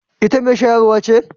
Ita mai shayarwa ce?